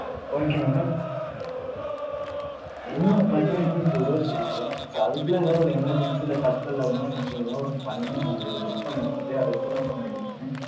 okay madam இன்னும் பாத்தீங்கன்னா இன்னு two days இருக்கு. so அதுக்குள்ள ஏதாவது ஒரு emergency இல்ல tatkal அது மாதிரி நம்ம ஏதோ ஒன்னு பன்னி அவங்கள miss பண்ண வச்சுட்டு, அதுக்கப்புறம் பண்ண வேண்டியது தானே.